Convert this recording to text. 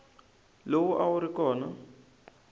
lowu a wu ri kona